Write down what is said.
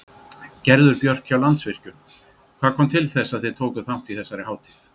Gerður Björk hjá Landsvirkjun, hvað kom til þess að þið takið þátt í þessari hátíð?